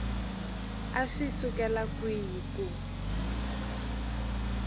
a swi sukela kwihi ku